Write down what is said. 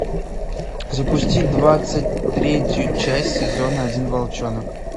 запусти двадцать третью часть сезона один волчонок